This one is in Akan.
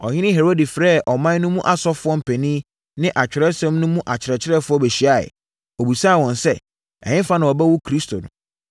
Ɔhene Herode frɛɛ ɔman no mu asɔfoɔ mpanin ne Atwerɛsɛm no akyerɛkyerɛfoɔ bɛhyiaeɛ. Ɔbisaa wɔn sɛ, “Ɛhefa na wɔbɛwo Kristo no?”